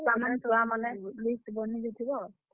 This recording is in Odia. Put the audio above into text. ଯାହା ଯାହା ସାମାନ list ବନେଇ ଦେଇଥିବ।